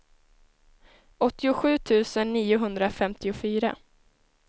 åttiosju tusen niohundrafemtiofyra